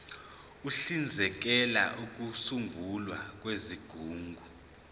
uhlinzekela ukusungulwa kwezigungu